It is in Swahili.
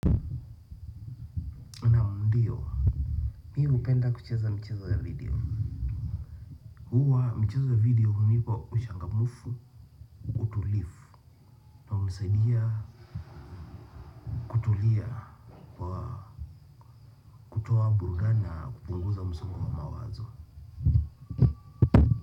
Naam ndiyo. Mimi hupenda kucheza mchezo ya video. Kuwa mchezo ya video hunipa uchangamfu utulivu na hunisaidia kutulia kwa kutoa burudani na kupunguza msongo wa mawazo.